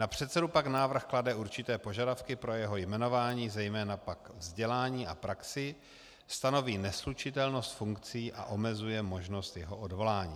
Na předsedu návrh pak klade určité požadavky pro jeho jmenování, zejména pak vzdělání a praxi, stanoví neslučitelnost funkcí a omezuje možnost jeho odvolání.